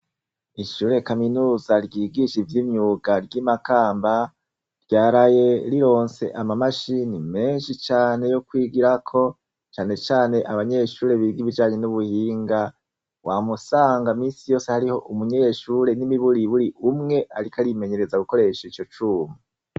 Ishure kaminuza ryigisha ivy'imyuga ry'imakamba ryaraye rirose amamashini meshi cane yokwigirako nacanecane abanyeshure biga ibijanye n'ubuhinga wamusanga misiyose hariho umunyeshure nimiburiburi umwe ariko ayimenyereza gukoresha icocuma.